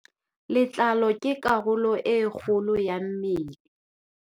Letlalo ke karolo e kgolo ya mmele.